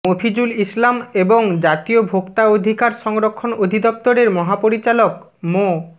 মফিজুল ইসলাম এবং জাতীয় ভোক্তা অধিকার সরক্ষণ অধিদপ্তরের মহাপরিচালক মো